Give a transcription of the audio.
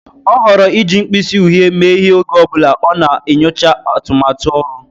Ọ họọrọ iji mkpịsị uhie mee ihe oge ọ bụla ọ na-enyocha atụmatụ ọrụ.